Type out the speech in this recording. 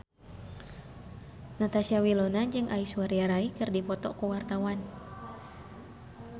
Natasha Wilona jeung Aishwarya Rai keur dipoto ku wartawan